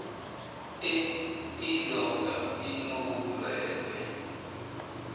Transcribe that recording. e indoda inobulwelwe